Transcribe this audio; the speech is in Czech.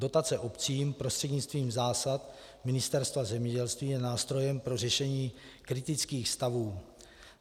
Dotace obcím prostřednictvím zásad Ministerstva zemědělství je nástrojem pro řešení kritických stavů.